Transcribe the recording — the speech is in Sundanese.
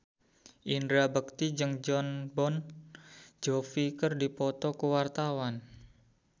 Indra Bekti jeung Jon Bon Jovi keur dipoto ku wartawan